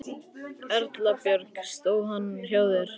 Erla Björg: Stóð hann hjá þér?